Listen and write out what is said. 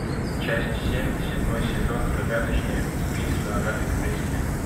часть семь седьмой сезон загадочные убийства агаты кристи